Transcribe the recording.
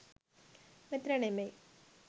මෙතන නෙවෙයි